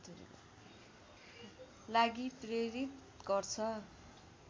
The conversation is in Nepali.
लागि प्रेरित गर्छ